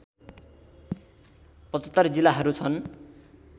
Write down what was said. ७५ जिल्लाहरू छन्